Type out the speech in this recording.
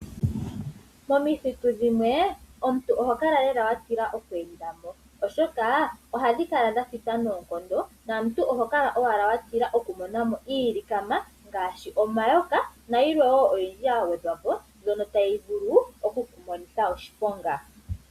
Momithitu dhimwe omuntu oho kala lela watila okweenda mo oshoka ohadhi kala dhathita noonkondo nomuntu oho kala watila okumonamo iilikama ngaashi omayoka nayilwe oyindji yagwedhwapo tayi vulu okukumonitha oshiponga.